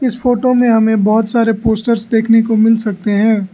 Photo में हमें बहोत सारे पोस्टर्स देखने को मिल सकते हैं।